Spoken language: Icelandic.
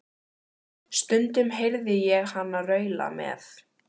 Stundum heyrði ég hana raula með